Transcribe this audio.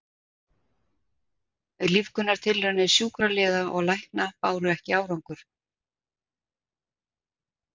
Lífgunartilraunir sjúkraliða og lækna báru ekki árangur.